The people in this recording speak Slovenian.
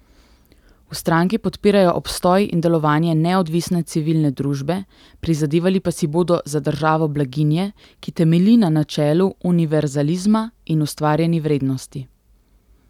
V stranki podpirajo obstoj in delovanje neodvisne civilne družbe, prizadevali pa si bodo za državo blaginje, ki temelji na načelu univerzalizma in ustvarjeni vrednosti.